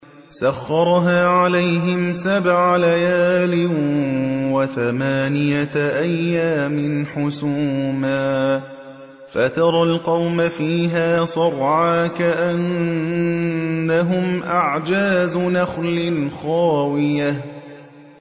سَخَّرَهَا عَلَيْهِمْ سَبْعَ لَيَالٍ وَثَمَانِيَةَ أَيَّامٍ حُسُومًا فَتَرَى الْقَوْمَ فِيهَا صَرْعَىٰ كَأَنَّهُمْ أَعْجَازُ نَخْلٍ خَاوِيَةٍ